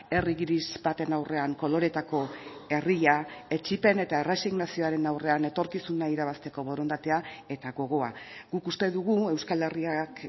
herri gris baten aurrean koloretako herria etsipen eta erresignazioaren aurrean etorkizuna irabazteko borondatea eta gogoa guk uste dugu euskal herriak